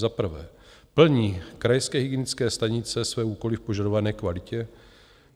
Za prvé, plní krajské hygienické stanice své úkoly v požadované kvalitě?